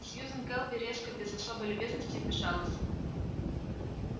сьюзен кэлвин резко без особой любезности вмешалась